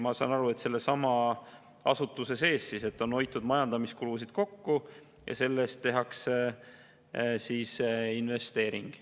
Ma saan aru nii, et selle asutuse sees on hoitud majandamiskulusid kokku ja tänu sellele tehakse investeering.